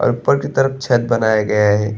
और ऊपर की तरफ छत बनाया गया है।